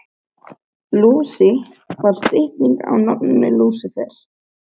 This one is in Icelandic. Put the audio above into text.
Lúsi var stytting á nafninu Lúsífer.